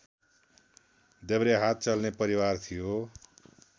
देब्रे हात चल्ने परिवार थियो